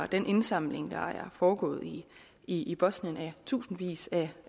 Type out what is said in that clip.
den indsamling der er foregået i i bosnien af tusindvis af